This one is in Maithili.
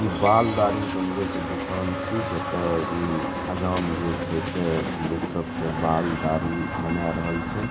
ई बाल दाढ़ी बनवे के दुकान छी जता उम्म हजाम जे छै से लोग सब के बाल-दाढ़ी बना रहल छै।